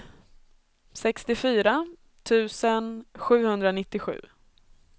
sextiofyra tusen sjuhundranittiosju